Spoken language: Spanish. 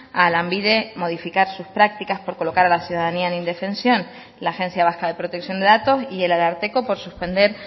a lanbide modificar sus prácticas por colocar a la ciudadanía en indefensión la agencia vasca de protección de datos y el ararteko por suspender